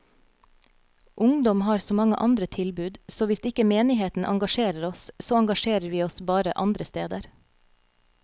Ungdom har så mange andre tilbud, så hvis ikke menigheten engasjerer oss, så engasjerer vi oss bare andre steder.